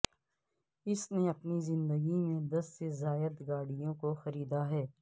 اس نے اپنی زندگی میں دس سے زائد گاڑیوں کو خریدا ہے